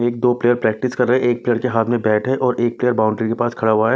एक दो player practice कर रहे हैं एक प्लेयर के हाथ में बैट है और एक प्लेयर बाउंड्री के पास खड़ा हुआ है।